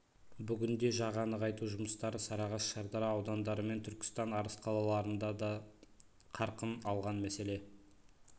бүгінде жаға нығайту жұмыстары сарыағаш шардара аудандары мен түркістан арыс қалаларында да қарқын алған мәселен